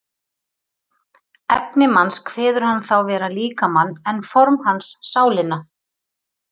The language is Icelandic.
efni manns kveður hann þá vera líkamann en form hans sálina